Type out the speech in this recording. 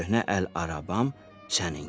Köhnə əl arabam səninkidir.